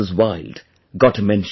Wild' gets a mention